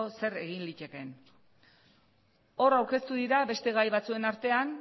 zer egin litekeen hor aurkeztu dira beste gai batzuen artean